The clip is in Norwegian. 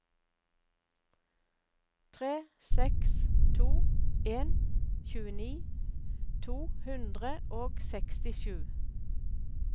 tre seks to en tjueni to hundre og sekstisju